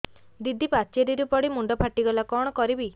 ଦିଦି ପାଚେରୀରୁ ପଡି ମୁଣ୍ଡ ଫାଟିଗଲା କଣ କରିବି